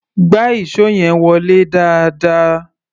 Gbá ìṣó yẹn wọlé dáadáa!